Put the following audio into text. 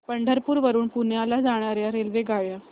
पंढरपूर वरून पुण्याला जाणार्या रेल्वेगाड्या